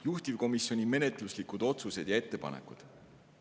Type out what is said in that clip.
Juhtivkomisjoni menetluslikud otsused ja ettepanekud.